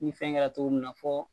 Ni fɛn kɛra cogo min na fɔ